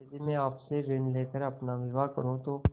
यदि मैं आपसे ऋण ले कर अपना विवाह करुँ तो